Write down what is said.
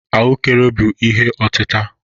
Ahụekere bụ ihe otita.